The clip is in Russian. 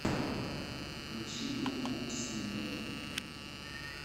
включи группу слимэйн